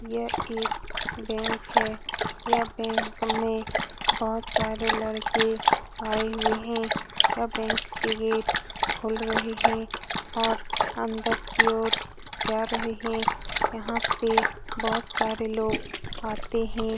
यह एक बैंक है यहाँ बैंक में बहुत सारे लड़के आए हुए हैं यहाँ बैंक के गेट खुल रहे हैं और अंदर की ओर जा रहे हैं जहाँ पे बहुत सारे लोग आते हैं।